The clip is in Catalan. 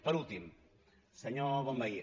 per últim senyor bonvehí